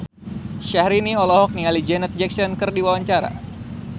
Syahrini olohok ningali Janet Jackson keur diwawancara